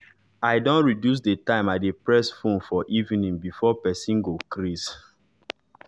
i don reduce d time i de press fone for evening before person go crase